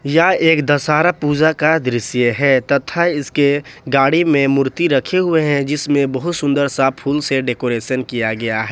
यह एक दशहरा पूजा का दृश्य है तथा इसके गाड़ी में मूर्ति रखे हुए हैं जिसमें बहुत सुंदर सा फूल से डेकोरेसन किया गया है।